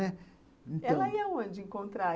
Né, então. Ela ia onde encontrar?